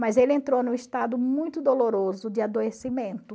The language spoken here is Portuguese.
Mas ele entrou em um estado muito doloroso de adoecimento.